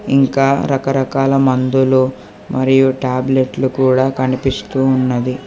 ఇంకా రకరకాల మందులు మరియు టాబ్లెట్లు కూడా కనిపిస్తూ ఉన్నది.